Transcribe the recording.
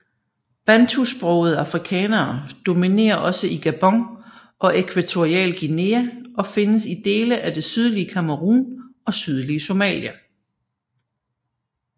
Bantusprogede afrikanere dominerer også i Gabon og Ekvatorial Guinea og findes i dele af det sydlige Cameroun og sydlige Somalia